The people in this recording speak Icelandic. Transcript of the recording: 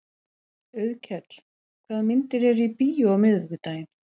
Auðkell, hvaða myndir eru í bíó á miðvikudaginn?